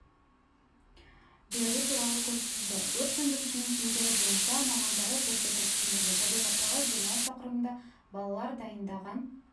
беру туралы көрсетілді өрт сөндірушінің киімдері бойынша мамандары көрсетіп түсіндірді табиғаттағы демалыс тақырыбында балалар дайындаған